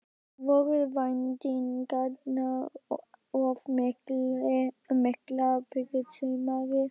Voru væntingarnar of miklar fyrir sumarið?